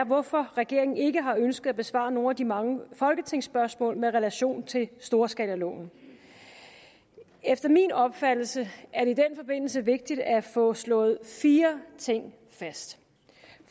hvorfor regeringen ikke har ønsket at besvare nogle af de mange folketingsspørgsmål med relation til storskalaloven efter min opfattelse er det i den forbindelse vigtigt at få slået fire ting fast